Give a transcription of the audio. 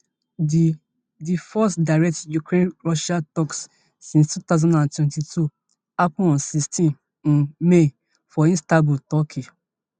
di di first direct ukrainianrussian talks since two thousand and twenty-two happen on sixteen um may for istanbul turkey